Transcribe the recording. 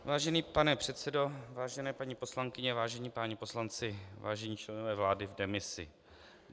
Vážený pane předsedo, vážené paní poslankyně, vážení páni poslanci, vážení členové vlády v demisi.